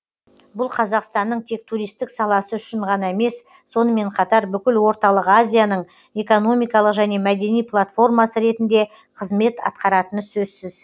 бұл қазақстанның тек туристік саласы үшін ғана емес сонымен қатар бүкіл орталық азияның экономикалық және мәдени платформасы ретінде қызмет атқаратыны сөзсіз